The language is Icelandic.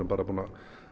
búin að